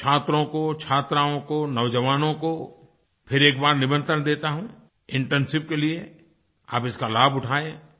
मैं छात्रों को छात्राओं को नौज़वानों को फिर एक बार निमंत्रण देता हूँ इंटर्नशिप के लिए आप इसका लाभ उठाएँ